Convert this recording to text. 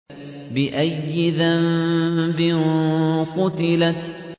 بِأَيِّ ذَنبٍ قُتِلَتْ